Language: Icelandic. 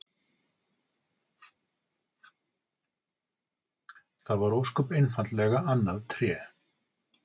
Það var ósköp einfaldlega annað Tré!